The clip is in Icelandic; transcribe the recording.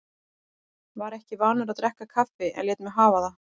Var ekki vanur að drekka kaffi en lét mig hafa það.